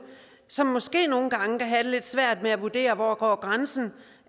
som måske nogle gange kan have lidt svært ved at vurdere hvor grænsen